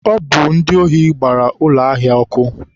Ọ bụ ndị ohi gbara ụlọ ahịa ọ́kụ́.